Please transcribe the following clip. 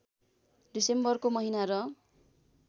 डिसेम्बरको महिना र